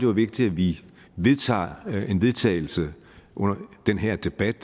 vigtigt at vi vedtager et forslag til vedtagelse under den her debat